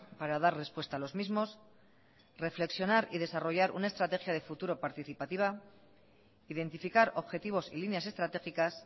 para dar respuesta a los mismos reflexionar y desarrollar una estrategia de futuro participativa identificar objetivos y líneas estratégicas